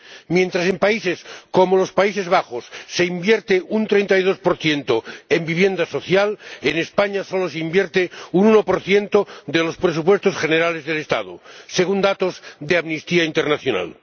Mientras en países como los Países Bajos se invierte un 32 en vivienda social, en España solo se invierte un 1 de los presupuestos generales del Estado, según datos de Amnistía Internacional.